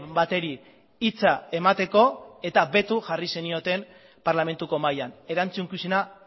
bateri hitza emateko eta beto jarri zenioten parlamentuko mahian erantzukizuna